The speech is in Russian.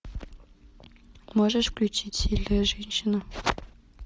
можешь включить сильная женщина